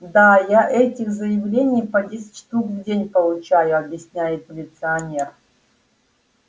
да я этих заявлений по десять штук в день получаю объясняет милиционер